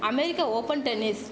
America open tennis